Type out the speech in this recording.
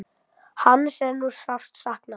Hans er nú sárt saknað.